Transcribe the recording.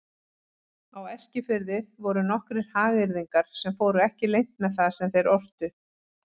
Á Eskifirði voru nokkrir hagyrðingar sem fóru ekki leynt með það sem þeir ortu.